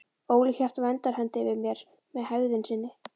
Óli hélt verndarhendi yfir mér með hegðun sinni.